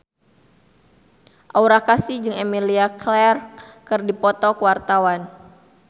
Aura Kasih jeung Emilia Clarke keur dipoto ku wartawan